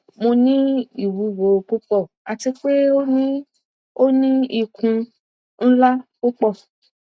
mo ni iwuwo pupọ ati pe o ni o ni ikun nla pupọ